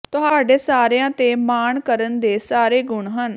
ਤੁਹਾਡੇ ਸਾਰਿਆਂ ਤੇ ਮਾਣ ਕਰਨ ਦੇ ਸਾਰੇ ਗੁਣ ਹਨ